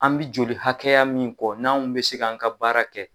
An bɛ joli hakɛya min kɔ, n'anw bɛ se k'an ka baara kɛ.